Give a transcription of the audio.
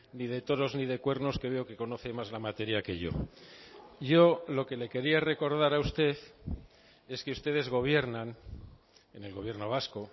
ni de toros ni de cuernos que veo que conoce más la materia que yo yo lo que le quería recordar a usted es que ustedes gobiernan en el gobierno vasco